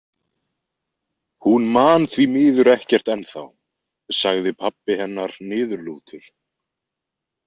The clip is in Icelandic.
Hún man þvi miður ekkert ennþá, sagði pabbi hennar niðurlútur.